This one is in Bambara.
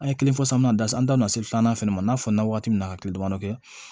An ye kelen fɔ sisan min na sisan an da don na se filanan fɛnɛ ma n'a fɔra waati min na ka kile damadɔ kɛ